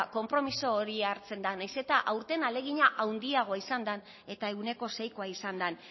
konpromiso hori hartzen da nahiz eta aurten ahalegina handiagoa izan den eta ehuneko seikoa izan den